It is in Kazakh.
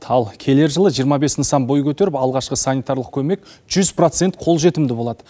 ал келер жылы жиырма бес нысан бой көтеріп алғашқы санитарлық көмек жүз процент қолжетімді болады